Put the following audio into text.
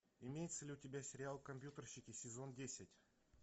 имеется ли у тебя сериал компьютерщики сезон десять